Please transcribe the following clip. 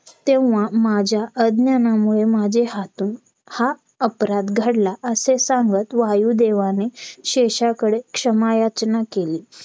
Phone केला पण त्या phone मध्ये पहिलेच तीन pdf येत